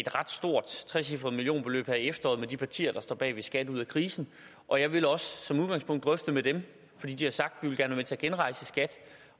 ret stort trecifret millionbeløb her i efteråret med de partier der står bagved skat ud af krisen og jeg vil også som udgangspunkt drøfte med dem fordi de har sagt at de gerne vil til at genrejse skat